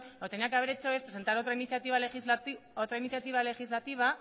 lo que tenía que haber hecho es presentar otra iniciativa legislativa